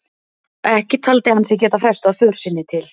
Ekki taldi hann sig geta frestað för sinni til